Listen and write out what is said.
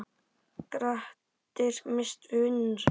Grettir misst vinnuna sína.